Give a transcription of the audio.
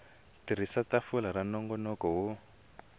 tirhisa tafula ra nongonoko wo